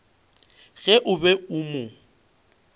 ge o be o mo